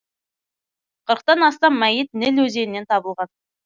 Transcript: тан астам мәйіт ніл өзенінен табылған